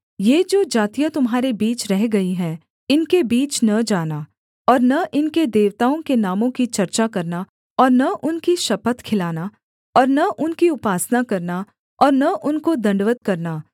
ये जो जातियाँ तुम्हारे बीच रह गई हैं इनके बीच न जाना और न इनके देवताओं के नामों की चर्चा करना और न उनकी शपथ खिलाना और न उनकी उपासना करना और न उनको दण्डवत् करना